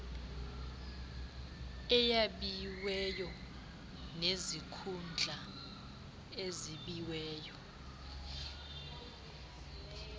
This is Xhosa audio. eyabiweyo nezikhundla ezabiweyo